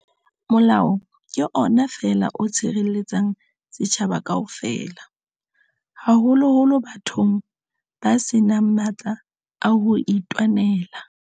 Molao ke ona feela o tshirelle-tsang setjhaba kaofela, haholoholo bathong ba senang matla a hoitwanela.